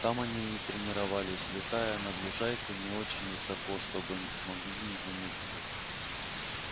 там они и тренировались летая над лужайкой не очень высоко чтобы маглы не заметили